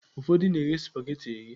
Ụfọdụ na-eghe spageti eghe.